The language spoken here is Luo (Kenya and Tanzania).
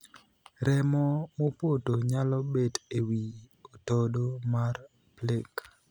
Remo mopoto nyalo bet e wii otodo mar 'plaque'.